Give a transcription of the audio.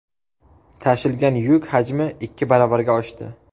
Tashilgan yuk hajmi ikki baravarga oshdi.